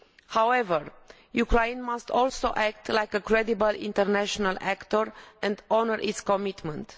However, Ukraine must also act like a credible international actor and honour its commitments.